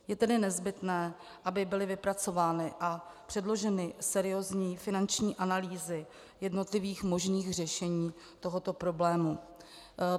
Je tedy nezbytné, aby byly vypracovány a předloženy seriózní finanční analýzy jednotlivých možných řešení tohoto problému.